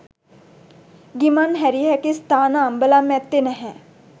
ගිමන්හැරිය හැකි ස්ථාන අම්බලම් ඇත්තේ නැහැ.